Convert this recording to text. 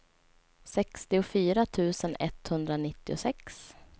sextiofyra tusen etthundranittiosex